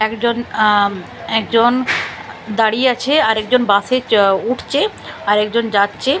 একজন আঁ একজন দাঁড়িয়ে আছে আর একজন বাসে চ উঠছে আর একজন যাচ্ছে --